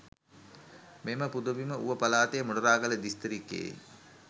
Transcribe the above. මෙම පුදබිම ඌව පළාතේ මොනරාගල දිස්ත්‍රික්කයෙ